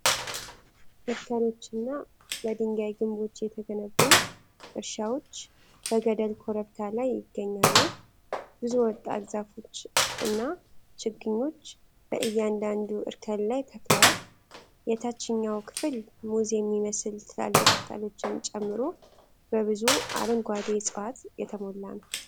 እርከኖችና በድንጋይ ግንቦች የተገነቡ እርሻዎች በገደል ኮረብታ ላይ ይገኛሉ። ብዙ ወጣት ዛፎች እና ችግኞች በእያንዳንዱ እርከን ላይ ተክለዋል። የታችኛው ክፍል ሙዝ የሚመስሉ ትላልቅ ቅጠሎችን ጨምሮ በብዙ አረንጓዴ ዕፅዋት የተሞላ ነው።